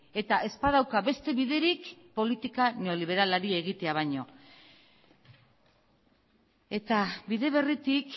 eta ez badauka beste biderik politika neoliberalari egitea baino eta bide berritik